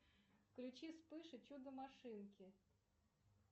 включи вспыш и чудо машинки